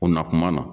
O na kuma na